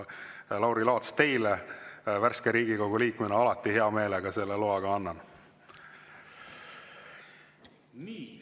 Lauri Laats, teile kui värskele Riigikogu liikmele ma alati hea meelega selle loa ka annan.